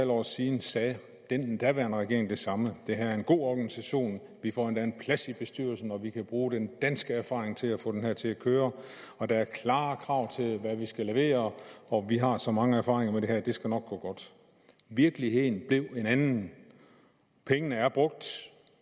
år siden sagde den daværende regering det samme det her er en god organisation vi får endda en plads i bestyrelsen og vi kan bruge den danske erfaring til at få det her til at køre og der er klare krav til hvad vi skal levere og vi har så mange erfaringer med det her at det nok skal gå godt virkeligheden blev en anden pengene er brugt